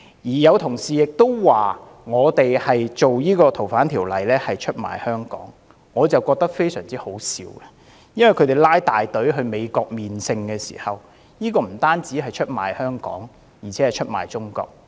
亦有同事說修訂《逃犯條例》是出賣香港，我覺得十分可笑，他們浩浩蕩蕩到美國"朝聖"，這不單是出賣香港，而且是出賣中國。